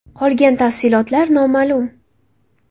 Qolgan tafsilotlar noma’lum.